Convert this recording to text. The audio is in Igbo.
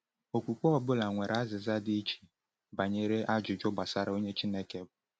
Okwukwe ọ bụla nwere azịza dị iche banyere ajụjụ gbasara onye Chineke bụ.